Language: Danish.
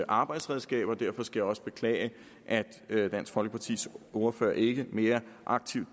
arbejdsredskab og derfor skal jeg også beklage at dansk folkepartis ordfører ikke deltog mere aktivt